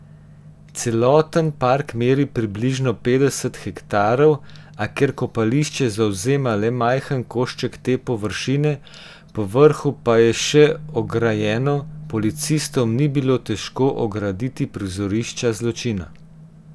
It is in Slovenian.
Celoten park meri približno petdeset hektarov, a ker kopališče zavzema le majhen košček te površine, povrhu pa je še ograjeno, policistom ni bilo težko ograditi prizorišča zločina.